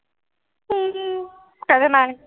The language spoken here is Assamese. উম উম কাইলে নাই।